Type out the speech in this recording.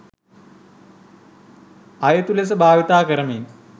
අයුතු ලෙස භාවිතා කරමින්